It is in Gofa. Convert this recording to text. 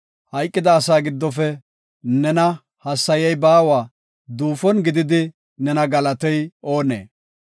Hayqida asaa giddofe nena hassayey baawa; duufon gididi nena galatey oonee?